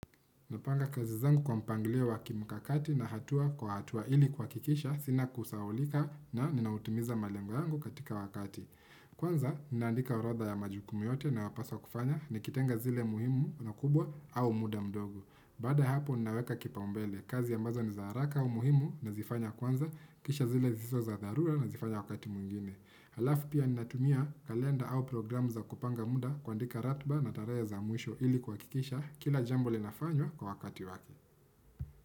Napanga kazi zangu kwa mpangilio wakimkakati na hatua kwa hatua ili kuha kikisha sina kusahaulika na ninautimiza malengo yangu katika wakati. Kwanza, ninaandika orodha ya majukumu yote nayopaswa kufanya ni kitenga zile muhimu na kubwa au muda mdogo. Baada hapo ninaweka kipaumbele, kazi a mbazo ni zaharaka au muhimu na zifanya kwanza, kisha zile zisizo dharura na zifanya wakati mwingine. Halafu pia ninatumia kalenda au programu za kupanga muda kuandika ratba na tarehe za mwisho ili kuha kikisha kila jambo linafanywa kwa wakati wake.